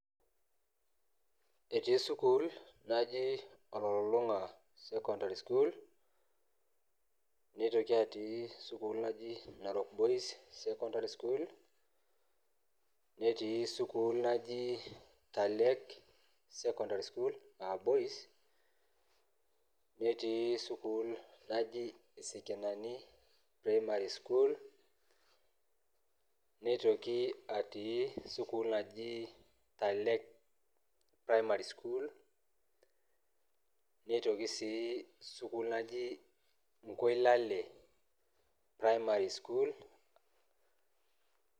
etii school naji ololulung'a secondary school nitoki atii school naji narok boys secondary school netii school naji talek secondary school aa boys netiii school naji sekenani primary school nitoki atio school naji talek primary school nitoki sii atii school naji nkoilale primary school.